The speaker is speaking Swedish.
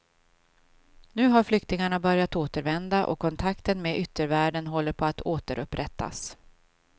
Nu har flyktingarna börjat återvända och kontakten med yttervärlden håller på att återupprättas.